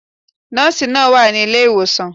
Nóòsi náà wà ní ilé ìwòsàn